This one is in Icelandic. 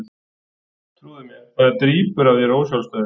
Trúðu mér, það drýpur af þér ósjálfstæðið.